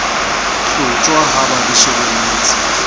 hlotjhwa ha ba di shebelletse